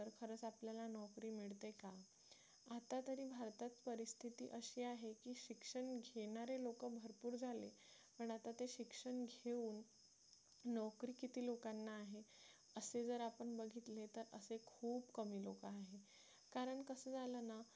किती असे आहे की शिक्षण घेणारे लोक भरपूर झाले पण आता ते शिक्षण घेऊन नोकरी किती लोकांना आहे असे जर आपण बघितले तर असे खूप कमी लोक आहेत कारण कसं झालं ना